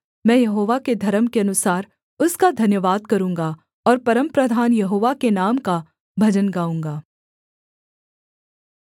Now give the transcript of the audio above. मैं यहोवा के धर्म के अनुसार उसका धन्यवाद करूँगा और परमप्रधान यहोवा के नाम का भजन गाऊँगा